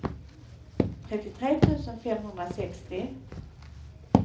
trettiotre tusen femhundrasextio